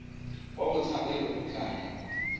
wa botshabelo o tla newa